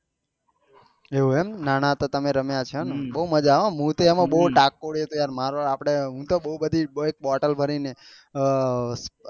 એવું છે ને એમ નાના હતા તમે રમ્યા છો એમ ને બહુ મજા આયે હા મને તો બહુ તાકોડી હતી મારે આપળે હું તો બહુ બધી બોટલ ભરી ને આ આપળે